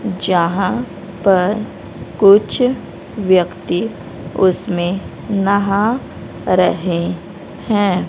जहां पर कुछ व्यक्ति उसमें नहा रहे हैं।